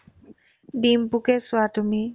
দিম্পুকে চোৱা তুমি